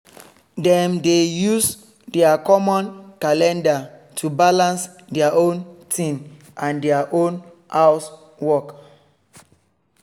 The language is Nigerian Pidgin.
dem dey use their common calendar to balance their own thing and their house work